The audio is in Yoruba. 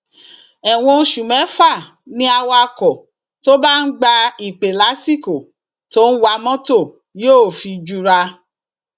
ẹwọn oṣù mẹfà ni awakọ tó bá ń gba ìpè lásìkò tó ń wa mọtò yóò fi jura